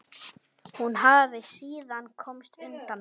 Hún hafi síðan komist undan.